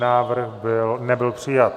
Návrh nebyl přijat.